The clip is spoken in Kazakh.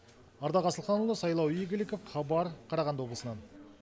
ардақ асылханұлы сайлау игіліков хабар қарағанды облысынан